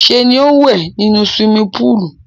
Ṣé ni ó ń wẹ̀ nínú suwimi púùlù.